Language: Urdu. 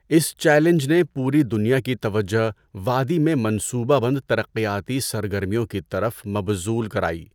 اس چیلنج نے پوری دنیا کی توجہ وادی میں منصوبہ بند ترقیاتی سرگرمیوں کی طرف مبذول کرائی۔